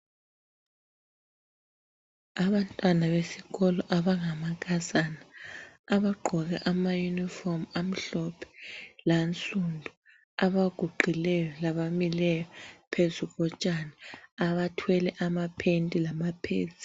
Abantwana besikolo abangamankazana abagqoke ama uniform amhlophe lansundu. Abaguqileyo labamileyo phezu kotshani abathwele ama pant lama pads .